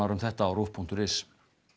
um þetta á ruv punktur is